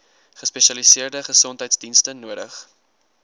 gespesialiseerde gesondheidsdienste nodig